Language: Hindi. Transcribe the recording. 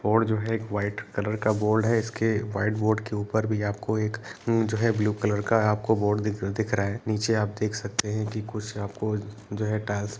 और जो है व्हाइट कलर का बोर्ड है। इसके व्हाइट बोर्ड के ऊपर भी आपको एक जो है ब्लू कलर का आपको बोर्ड दिख दिख रहा नीचे आप देख सकते हैं कि कुछ आपको जो है टाइल्स --